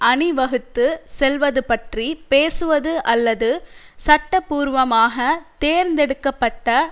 அணி வகுத்து செல்வதுப்பற்றி பேசுவது அல்லது சட்டபூர்வமாக தேர்ந்தெடுக்க பட்ட